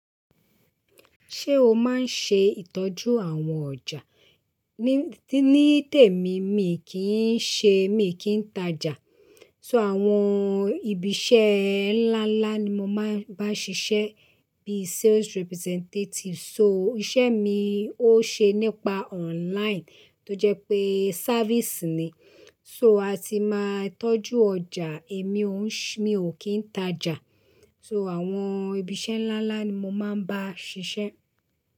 Ṣé o máa ń ṣe ìtọ́jú àwọn ọjà? Ní, ní tèmi mii kì í ṣe, mi ò kí ń tajà. So àwọn ibi iṣẹ́ ńlá ńlá ni mo máa ń bá ṣiṣẹ́ bí sales representative. So iṣẹ́ mi ó ṣe nípa online tó jẹ́ pé sávíìsì ni. So a ti máa ń tọ́jú ọjà, èmi ò ń ṣe-- mi ò kí ń tajà. So àwọn ibi iṣẹ́ ńlá ńlá ni mo máa ń bá ṣiṣẹ́